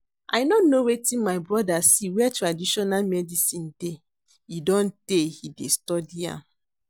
I no know wetin my brother see where traditional medicine dey, e don tey he dey study am